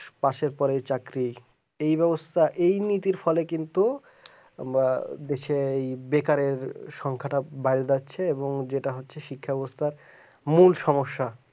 পাশের পরের চাকরি এই ব্যবস্থা এই নীতির ফলে কিন্তু বা দেশে বেকার সংখ্যাটা বাড়িয়ে যাচ্ছে এবং যেটা হচ্ছে শিক্ষা ব্যবস্থা মূল সমস্যা